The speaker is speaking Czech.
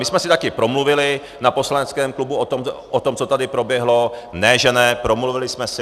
My jsme si také promluvili na poslaneckém klubu o tom, co tady proběhlo, ne že ne, promluvili jsme si.